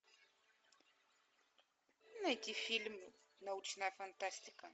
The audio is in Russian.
найти фильм научная фантастика